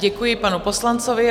Děkuji panu poslanci.